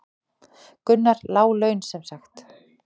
Gunnar: Lág laun sem sagt?